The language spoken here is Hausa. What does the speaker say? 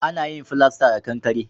A na yin filasta da kankare